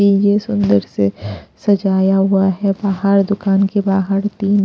ये सुंदर से सजाया हुआ है बाहर दुकान के बाहर तीन--